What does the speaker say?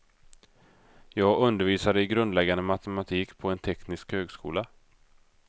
Jag undervisar i grundläggande matematik på en teknisk högskola.